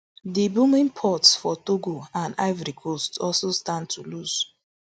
di booming ports for togo and ivory coast also stand to lose